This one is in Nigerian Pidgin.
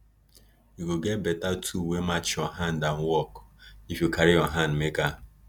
you go get beta tool wey match your hand and work if you carry your hand make am